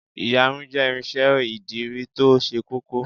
Ìyarun jẹ́ irinsẹ́ ìdirí to se kókó